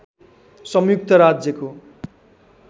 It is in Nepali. संयुक्त राज्यको